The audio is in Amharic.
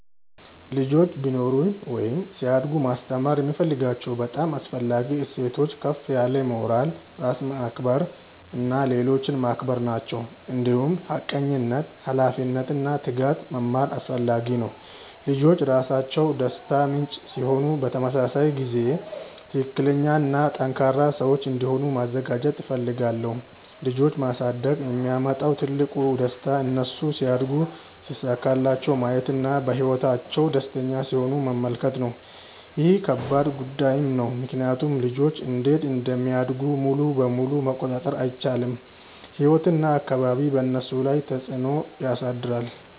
ልጆች ቢኖሩኝ ወይም ሲያድጉ ማስተማር የምፈልጋቸው በጣም አስፈላጊ እሴቶች ከፍ ያለ ሞራል፣ ራስን ማክበር እና ሌሎችን ማክበር ናቸው። እንዲሁም ሐቀኝነት፣ ኃላፊነት እና ትጋት መማር አስፈላጊ ነው። ልጆች ራሳቸው ደስታ ምንጭ ሲሆኑ በተመሳሳይ ጊዜ ትክክለኛ እና ጠንካራ ሰዎች እንዲሆኑ ማዘጋጀት እፈልጋለሁ። ልጆች ማሳደግ የሚያመጣው ትልቁ ደስታ እነሱ ሲያድጉ ሲሳካላቸው ማየት እና በህይወታቸው ደስተኛ ሲሆኑ መመልከት ነው። ይህ ከባድ ጉዳይም ነው ምክንያቱም ልጆች እንዴት እንደሚያድጉ ሙሉ በሙሉ መቆጣጠር አይቻልም፤ ህይወት እና አካባቢ በእነሱ ላይ ተፅዕኖ ያሳድራሉ።